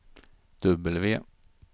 W